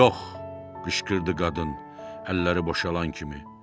Yox, qışqırdı qadın, əlləri boşalan kimi.